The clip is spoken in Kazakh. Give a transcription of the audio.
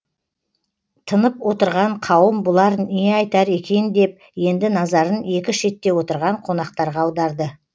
тынып отырған қауым бұлар не айтар екен деп енді назарын екі шетте отырған қонақтарға аударды